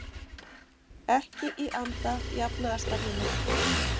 Ekki í anda jafnaðarstefnunnar